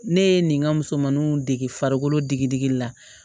Ne ye nin ka musomanuw dege farikolo digidigi la